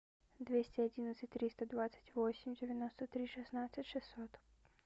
двести одиннадцать триста двадцать восемь девяносто три шестнадцать шестьсот